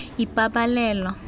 ipabalelo